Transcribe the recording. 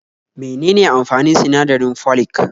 Me nene amfanin sinadarin folic?